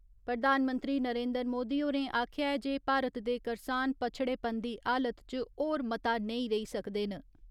प्रधानमंत्री नरेन्द्री मोदी होरें आखेआ ऐ जे भारत दे करसान पच्छड़ेपन दी हालत च होर मता नेईं रेई सकदे न।